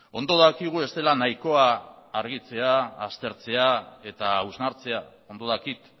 ondo dakigu ez dela nahikoa argitzea aztertzea eta hausnartzea ondo dakit